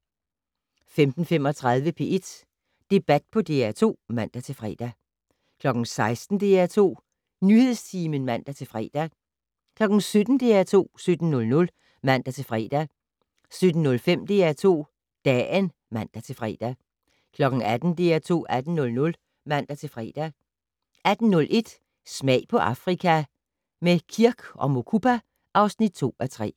15:35: P1 Debat på DR2 (man-fre) 16:00: DR2 Nyhedstimen (man-fre) 17:00: DR2 17:00 (man-fre) 17:05: DR2 Dagen (man-fre) 18:00: DR2 18:00 (man-fre) 18:01: Smag på Afrika - med Kirk & Mukupa (2:3)